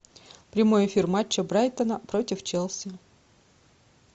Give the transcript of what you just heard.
прямой эфир матча брайтона против челси